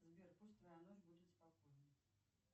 сбер пусть твоя ночь будет спокойной